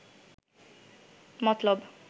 মতলব